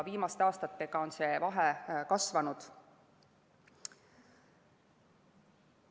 Viimaste aastatega on see vahe kasvanud.